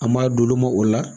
An m'a d'olu ma o la